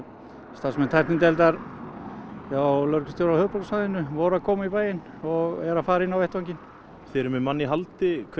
starfsmenn tæknideildar hjá lögreglustjóra á höfuðborgarsvæðinu voru að koma í bæinn og eru að fara inn á vettvanginn þið eruð með mann í haldi hver